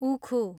उखु